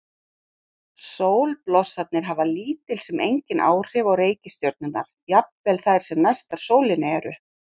Sólblossarnir hafa lítil sem engin áhrif á reikistjörnurnar, jafnvel þær sem næstar sólinni eru.